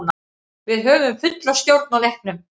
Við höfðum fulla stjórn á leiknum.